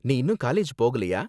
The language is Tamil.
நீ இன்னும் காலேஜ் போகலையா?